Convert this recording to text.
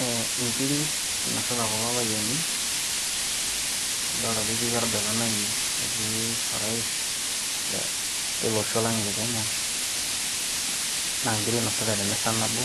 Ee nkiri inosita kulo payiani nidolta ajoketii orgavanai ine wueji netii orais lolosho lang' le Kenya naa ingiri inasita te misa nabo